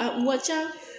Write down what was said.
A wa ca